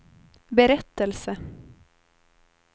berättelse